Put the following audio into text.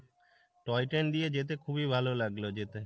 toy train দিয়ে যেতে খুবই ভালো লাগলো যেতে।